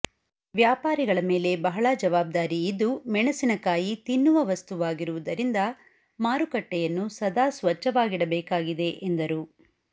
ವ್ಯಾಪಾರಿಗಳ ಮೇಲೆ ಬಹಳ ಜವಾಬ್ದಾರಿ ಇದ್ದು ಮೆಣಸಿನಕಾಯಿ ತಿನ್ನುವ ವಸ್ತುವಾಗಿರುವದರಿಂದ ಮಾರಿಕಟ್ಟೆಯನ್ನು ಸದಾ ಸ್ವಚ್ಚವಾಗಿಡಬೇಕಾಗಿದೆ ಎಂದರು